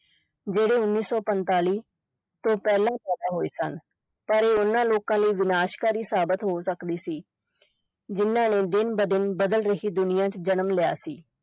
ਜਿਹੜੇ ਉੱਨੀ ਸੌ ਪੰਤਾਲੀ ਤੋਂ ਪਹਿਲਾਂ ਪੈਦਾ ਹੋਏ ਸਨ, ਪਰ ਇਹ ਉਨ੍ਹਾਂ ਲੋਕਾਂ ਲਈ ਵਿਨਾਸ਼ਕਾਰੀ ਸਾਬਤ ਹੋ ਸਕਦੀ ਸੀ ਜਿਨ੍ਹਾਂ ਨੇ ਦਿਨ-ਬ-ਦਿਨ ਬਦਲ ਰਹੀ ਦੁਨੀਆ ਚ ਜਨਮ ਲਿਆ ਸੀ।